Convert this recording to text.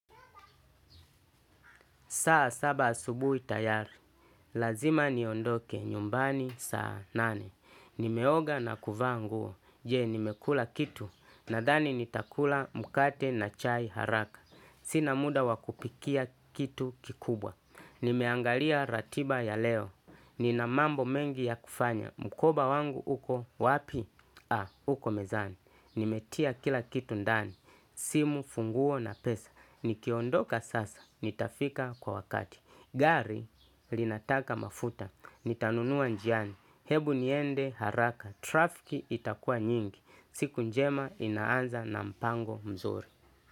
Saa saba asubuhi tayari, lazima niondoke nyumbani saa nane. Nimeoga na kuvaa nguo, je nimekula kitu, nadhani nitakula mkate na chai haraka. Sina muda wa kupikia kitu kikubwa. Nimeangalia ratiba ya leo, nina mambo mengi ya kufanya. Mkoba wangu uko wapi? Ha, uko mezani. Nimetia kila kitu ndani, simu funguo na pesa. Nikiondoka sasa, nitafika kwa wakati. Gari linataka mafuta, nitanunua njiani. Hebu niende haraka, trafiki itakua nyingi. Siku njema inaanza na mpango mzuri.